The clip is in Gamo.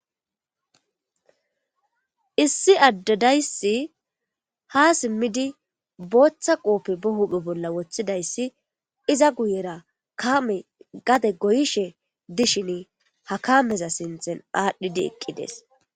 Issi ad dayisi ha simidi botha qoppe huphe bola wothidayis iza guyera kameti gade goyishe dishini ha kameza dinthani adhidi eqideesi